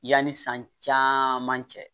Yanni san caman cɛ